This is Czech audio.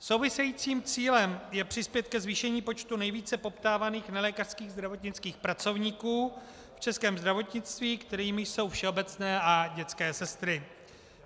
Souvisejícím cílem je přispět ke zvýšení počtu nejvíce poptávaných nelékařských zdravotnických pracovníků v českém zdravotnictví, kterými jsou všeobecné a dětské sestry.